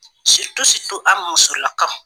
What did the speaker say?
an musolaka!